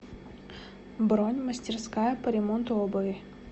бронь мастерская по ремонту обуви